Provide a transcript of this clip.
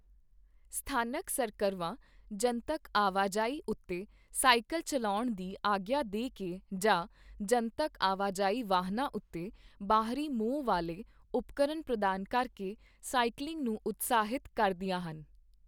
ਸਥਾਨਕ ਸਰਕਰਵਾਂ ਜਨਤਕ ਆਵਾਜਾਈ ਉੱਤੇ ਸਾਈਕਲ ਚੱਲਾਉਣ ਦੀ ਆਗਿਆ ਦੇ ਕੇ ਜਾਂ ਜਨਤਕ ਆਵਾਜਾਈ ਵਾਹਨਾਂ ਉੱਤੇ ਬਾਹਰੀ ਮੋਹ ਵਾਲੇ ਉਪਕਰਨ ਪ੍ਰਦਾਨ ਕਰਕੇ ਸਾਈਕਲਿੰਗ ਨੂੰ ਉਤਸ਼ਾਹਿਤ ਕਰਦੀਆਂ ਹਨ।